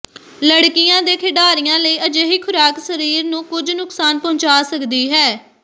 ਲੜਕੀਆਂ ਦੇ ਖਿਡਾਰੀਆਂ ਲਈ ਅਜਿਹੀ ਖੁਰਾਕ ਸਰੀਰ ਨੂੰ ਕੁਝ ਨੁਕਸਾਨ ਪਹੁੰਚਾ ਸਕਦੀ ਹੈ